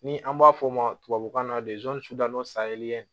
Ni an b'a fɔ o ma tubabukan na